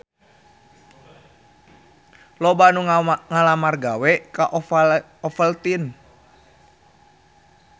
Loba anu ngalamar gawe ka Ovaltine